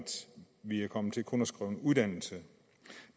vi er kommet til kun at skrive uddannelse